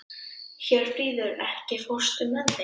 Hjörfríður, ekki fórstu með þeim?